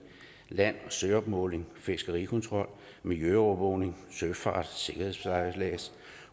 land og søopmåling fiskerikontrol miljøovervågning søfart